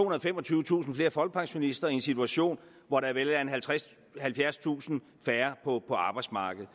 og femogtyvetusind flere folkepensionister i en situation hvor der vil være halvfjerdstusind færre på arbejdsmarkedet